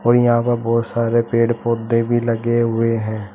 और यहां पर बहोत सारे पेड़ पौधे भी लगे हुए हैं।